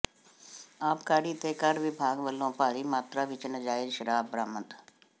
ਆਬਕਾਰੀ ਤੇ ਕਰ ਵਿਭਾਗ ਵੱਲੋਂ ਭਾਰੀ ਮਾਤਰਾ ਵਿੱਚ ਨਾਜਾਇਜ਼ ਸ਼ਰਾਬ ਬਰਾਮਦ